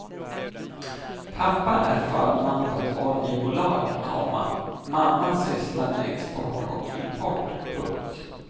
Pappa är förman på ett oljebolag, komma mamma sysslar med export och import. punkt